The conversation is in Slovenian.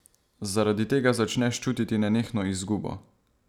Zaradi tega začneš čutiti nenehno izgubo.